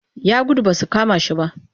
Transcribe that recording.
Ya gudu ba su kama shi ba